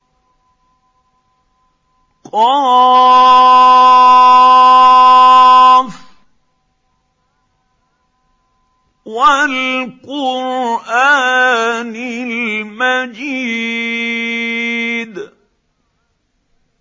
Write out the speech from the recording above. ق ۚ وَالْقُرْآنِ الْمَجِيدِ